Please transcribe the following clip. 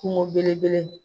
Kungo belebele.